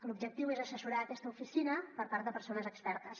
l’objectiu és assessorar aquesta oficina per part de persones expertes